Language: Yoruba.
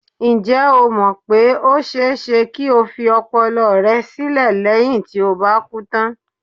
Ǹjẹ́ o mọ̀ pé ó ṣe-é-ṣe kí o fi ọpọlọ rẹ sílẹ̀ léyìn tí o bá kú tán?